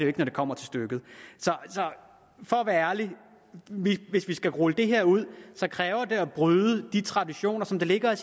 ikke når det kommer til stykket så for at være ærlig hvis vi skal rulle det her ud kræver det at vi bryder de traditioner som ligger